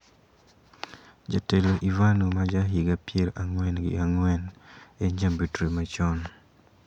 Jatelo Ivanov ma ja higa pier ang`wen gi ang`wen en jambetre machon.